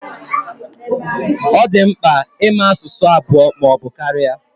Ọ di mkpa ịma asụsụ abụọ ma ọbụ karịa